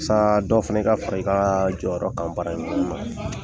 dɔ fana ka fara i ka jɔyɔrɔ kan baara in kɔnɔna na.